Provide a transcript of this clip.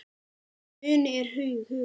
En muni er hugur.